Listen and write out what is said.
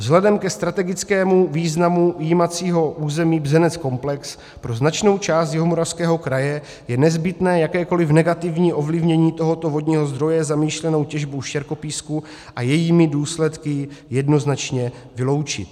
Vzhledem ke strategickému významu jímacího území Bzenec-komplex pro značnou část Jihomoravského kraje je nezbytné jakékoliv negativní ovlivnění tohoto vodního zdroje zamýšlenou těžbou štěrkopísku a jejími důsledky jednoznačně vyloučit.